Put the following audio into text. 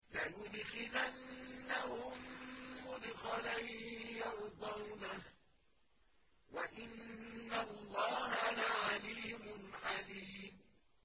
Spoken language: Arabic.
لَيُدْخِلَنَّهُم مُّدْخَلًا يَرْضَوْنَهُ ۗ وَإِنَّ اللَّهَ لَعَلِيمٌ حَلِيمٌ